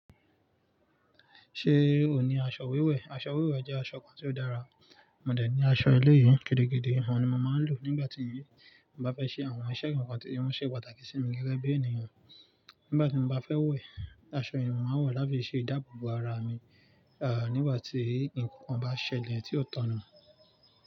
Ṣé o ní aṣọ wiwẹ́? Aṣọ wiwẹ́ jẹ́ aṣọ kan tí ó dára, mo dẹ̀ ní aṣọ ẹlẹ́yi to le gbe de hàn, òun ni mo máa ń lò nígbàtí mo bá fẹ́ ṣe àwọn iṣẹ́ eyi, óun ṣe pàtàkì sí mi gẹ́gẹ́ bí ènìyàn. Nígbà ti mọ ba fẹ wẹ, aṣọ yii ni mo máà n wọ láti se ìdáàbòbò àrà mi, a nígbà ti èèyàn ba ṣẹlẹ ti o da nu.